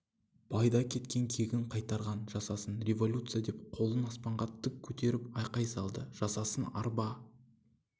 байда кеткен кегін қайтарған жасасын революция деп қолын аспанға тік көтеріп айқай салды жасасын арба